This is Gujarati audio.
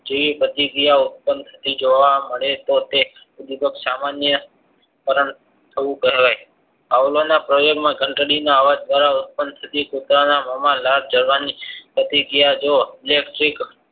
જોયે પ્રતિક્રિયા ઉત્પન્ન થતી જોવા મળે તો તો તે ઉદ્વીપક સામાન્ય કારણ થવું કહેવાયઆવળાવના પ્રયોગ માં ઘંટડી અવાજ દ્વારા ઉત્પન્ન થતી કુત્તરાનાં મોમાં લાળ જરાં જરાં પ્રતિક્રિયા જો